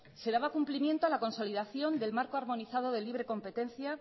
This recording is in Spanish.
se daba cumplimiento a la consolidación del marco armonizado de libre competencia